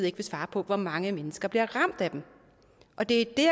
ikke vil svare på hvor mange mennesker der bliver ramt af dem og det er det